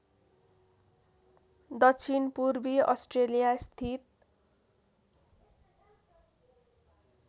दक्षिणपूर्वी अस्ट्रेलिया स्थित